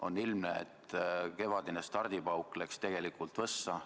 On ilmne, et kevadine stardipauk läks tegelikult võssa.